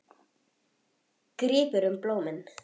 Grípur um blómin.